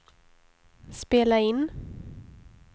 spela in